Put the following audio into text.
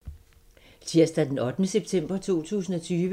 Tirsdag d. 8. september 2020